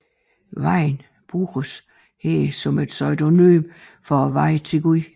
Vejen bruges her som et synonym for vejen til Gud